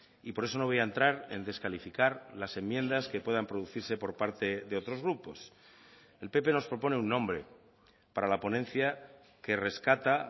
y por eso no voy a entrar en descalificar las enmiendas que puedan producirse por parte de otros grupos el pp nos propone un nombre para la ponencia que rescata